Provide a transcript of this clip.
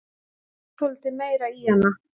Legðu svolítið meira í hana.